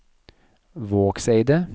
Vågseidet